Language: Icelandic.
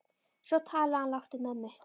Svo talaði hún lágt við mömmu.